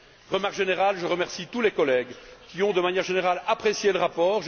Observation générale je remercie tous les collègues qui ont, de manière générale, apprécié le rapport.